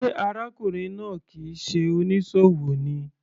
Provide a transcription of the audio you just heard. Sé arákùnrin náà kìí ṣe onísòwò ni.